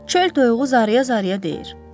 Çöl toyuğu zaraya-zaraya deyir: